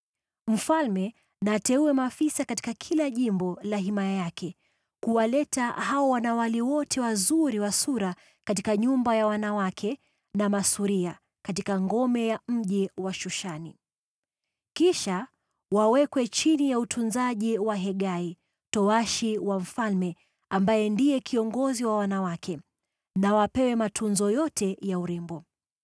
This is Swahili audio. Mfalme na ateue maafisa katika kila jimbo la himaya yake kuwaleta hao wanawali wote wazuri wa sura katika nyumba ya wanawake katika ngome ya mji wa Shushani. Kisha wawekwe chini ya utunzaji wa Hegai, towashi wa mfalme, msimamizi wa wanawake; na wapewe matunzo yote ya urembo.